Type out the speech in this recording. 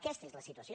aquesta és la situació